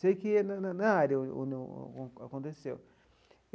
Sei que na na na área aconteceu.